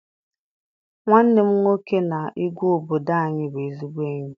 Nwanne m nwoke na igwe obodo anyị bụ ezigbo enyi.